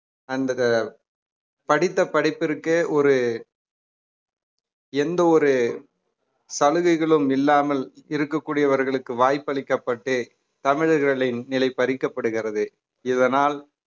அந்த படித்த படிப்பிற்கு ஒரு எந்த ஒரு சலுகைகளும் இல்லாமல் இருக்கக்கூடியவர்களுக்கு வாய்ப்பளிக்கப்பட்டு தமிழர்களின் நிலை பறிக்கப்படுகிறது இதனால்